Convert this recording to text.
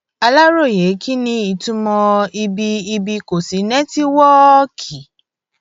aláròye kí ni ìtumọ ibi ibi kò sí rètíwọọkì